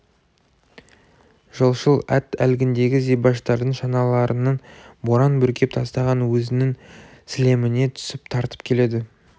жолшыл ат әлгіндегі зибаштардың шаналарының боран бүркеп тастаған өзінің сілеміне түсіп тартып келеді